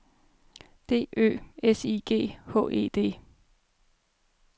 D Ø S I G H E D